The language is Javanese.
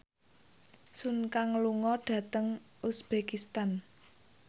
Sun Kang lunga dhateng uzbekistan